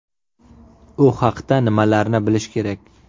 U haqda nimalarni bilish kerak?.